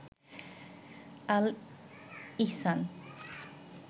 আল ইহসান